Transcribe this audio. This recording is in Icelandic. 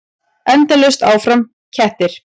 Endalaust áfram: kettir.